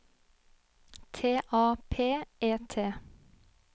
T A P E T